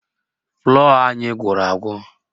Flọ́ọ̀ anyị gwụrụ agwụ